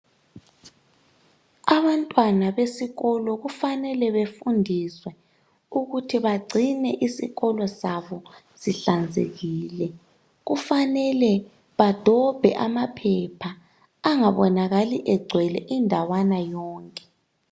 Abantwana besikolo kufanale befundiswa ukubana begcine isikolo sabo sihlanzekile kufanale bedobhe amaphepha engabonakali egcwele indawana yonke